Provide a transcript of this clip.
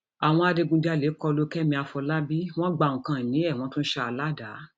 àwọn adigunjalè kọ lu kẹmi àfọlábàbí wọn gba nǹkan ìní ẹ wọn tún ṣá a ládàá